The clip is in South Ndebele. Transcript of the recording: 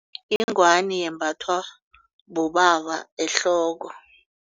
Ingwani yembathwa bobaba ehloko.